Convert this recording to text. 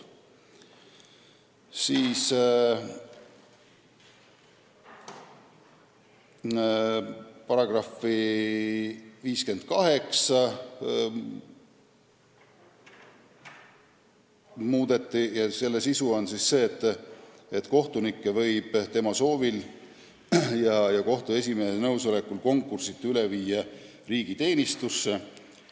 Ka § 58 soovitakse muuta, selle sisu on see, et kohtunikku võib tema soovil ja kohtu esimehe nõusolekul konkursita üle viia riigiteenistusse.